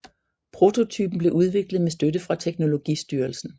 Prototypen blev udviklet med støtte fra teknologistyrelsen